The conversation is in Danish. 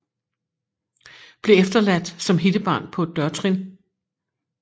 Blev efterladt som hittebarn på et dørtrin